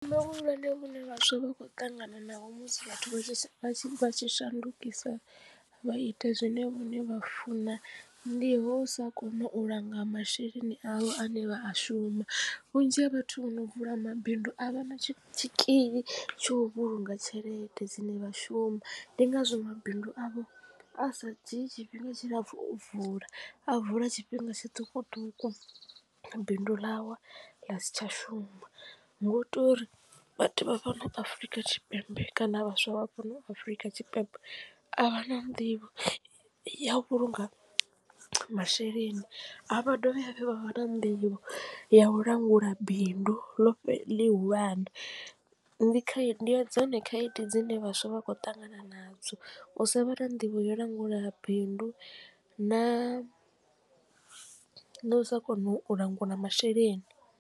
Vhuleme vhune vhaswa vha khou ṱangana naho musi vhathu vha tshi shandukisa vha ita zwine vhone vha funa ndi ho usa kona u langa masheleni avho ane vha a shuma vhunzhi ha vhathu vhono vula mabindu a vha na tshi tshikili tsha u vhulunga tshelede dzine vha shuma ndi ngazwo mabindu avho a sa dzhii tshifhinga tshilapfu u vula a vula tshifhinga tshiṱukuṱuku bindu ḽawa ḽa si tsha shuma. Nga u to uri vhathu vha fhano Afurika Tshipembe kana vhaswa vha fhano afrika tshipembe a vha na nḓivho ya u vhulunga masheleni a vha dovhi hafhu vha vha na nḓivho ya u langula bindu ḽihulwane ndi khaedu ndi dzone khaedu dzine vhaswa vha khou ṱangana na dzo u sa vha na nḓivho yo langula bindu na na u sa kona u langula masheleni.